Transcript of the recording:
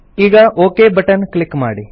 ಈಗ okay button click ಮಾಡಿ